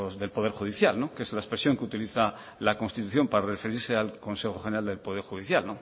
del poder judicial que es la expresión que utiliza la constitución para referirse al consejo general del poder judicial